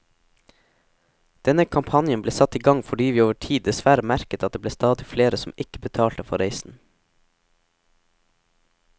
Denne kampanjen ble satt i gang fordi vi over tid dessverre merket at det ble stadig flere som ikke betalte for reisen.